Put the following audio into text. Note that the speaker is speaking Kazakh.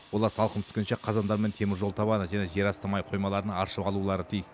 олар салқын түскенше қазандар мен теміржол табаны және жерасты май қоймаларын аршып алулары тиіс